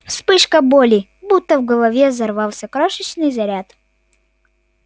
вспышка боли будто в голове взорвался крошечный заряд